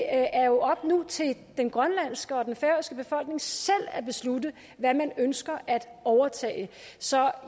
er jo nu op til den grønlandske og den færøske befolkning selv at beslutte hvad man ønsker at overtage så